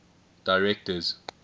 directors